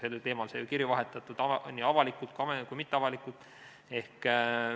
Sellel teemal sai kirju vahetatud nii avalikult kui ka mitteavalikult.